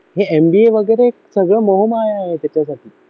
हे MBA वगैरे सगळे मोह माया आहे त्याच्यासाठी